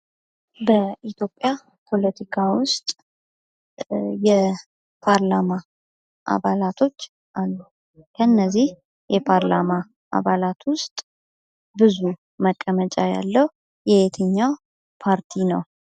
በኢትዮጵያ ፖለቲካ ውስጥ የፓርላማ አባላቶች አሉ ፤ ከነዚህ የፓርላማ አባላት ውስጥ ብዙ መቀመጫ ያለው የትኛው ፓርቲ?